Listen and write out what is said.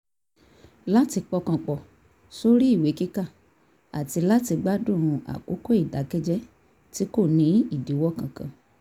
láti pọkàn pọ̀ sórí ìwé kíkà àti láti gbádùn àkókò ìdàkẹ́jẹ́ tí kò ní ìdíwọ́ kankan